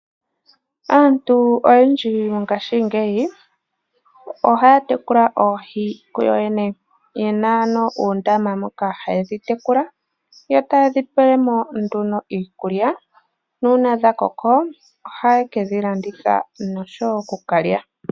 Aantu oyendji mongashingeyi ohaya tekula oohi kuyo yene. Ye na ano uundama moka haye dhi tekula yo taye dhi pele mo nduno iikulya nuuna dha koko ohaye ke dhi landitha nosho wo oku ka lya.